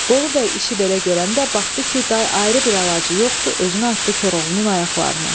Bolu Bəy işi belə görəndə baxdı ki, day ayrı bir əlacı yoxdu, özünü atdı Koroğlunun ayaqlarına.